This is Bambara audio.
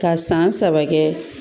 Ka san saba kɛ